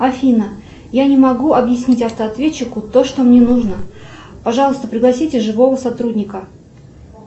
афина я не могу объяснить автоответчику то что мне нужно пожалуйста пригласите живого сотрудника